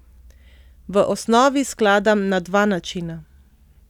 V osnovi skladam na dva načina.